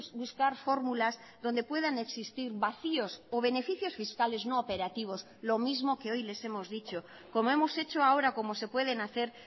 buscar fórmulas donde puedan existir vacíos o beneficios fiscales no operativos lo mismo que hoy les hemos dicho como hemos hecho ahora como se pueden hacer